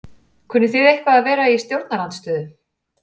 Kunnið þið eitthvað að vera í stjórnarandstöðu?